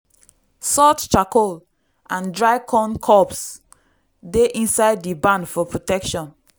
salt charcoal and dry corn cobs dey inside di barn for protection.